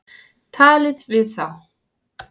Talið við þá.